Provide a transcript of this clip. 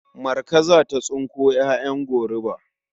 Marka za ta tsinko ƴaƴan goruba.